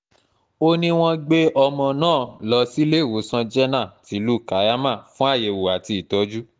ó ní wọ́n ti gbé ọmọ náà lọ síléwòsàn jẹ̀nà tìlú kaiama fún àyẹ̀wò àti ìtọ́jú